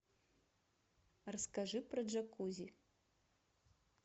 расскажи про джакузи